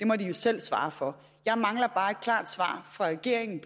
må de jo selv svare for jeg mangler bare et klart svar fra regeringen